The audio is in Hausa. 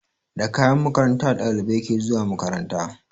Da kayan makaranta ɗalibai ke zuwa makaranta